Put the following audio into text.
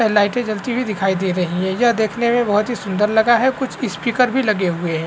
और लाइटे जलती हुई दिखाई दे रही है यह देखने में बहुत ही सुन्दर लगा है कुछ स्पीकर भी लगे हुए है।